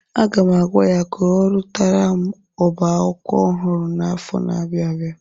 Aga m agwa ya ka ọrụtara m oba akwụkwọ ọhụrụ n'afọ na-abịa abịa.